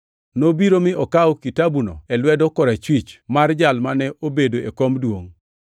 Nobiro mi okawo kitabuno e lwedo korachwich mar Jalno mane obedo e kom duongʼ.